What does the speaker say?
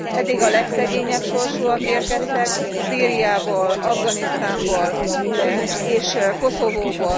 Eddig a legszegényebb sorsúak érkeztek Szíriából, Afganisztánból és Koszovóból.